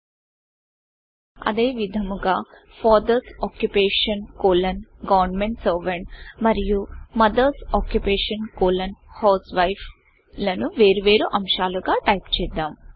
అదేవిధముగా father's occupation colon government SERVANTఫాదర్స్ occupation colon government servant మరియు మదర్స్ ఆక్యుపేషన్ కోలోన్ HOUSEWIFEమదర్స్ ఆక్యుపేషన్ కోలన్ హౌస్వైఫ్లను వేరు వేరు అంశాలుగా టైపు చేద్దాం